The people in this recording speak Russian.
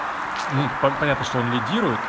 мм пом понятно что он лидирует